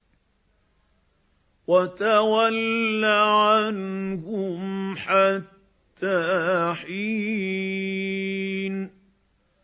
وَتَوَلَّ عَنْهُمْ حَتَّىٰ حِينٍ